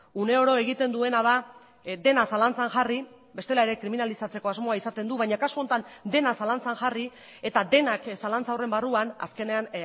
uneoro egiten duena da dena zalantzan jarri bestela ere kriminalizatzeko asmoa izaten du baina kasu honetan dena zalantzan jarri eta denak zalantza horren barruan azkenean